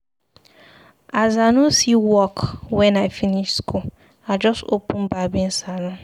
As I no see work wen I finish skool, I just open barbing saloon.